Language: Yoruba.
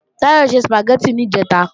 Táyọ̀ se Sùpàgẹ́tì níjẹ̀ta